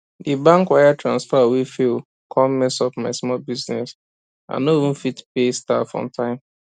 di bank wire transfer wey fail come mess up my small business i no even fit pay staff on time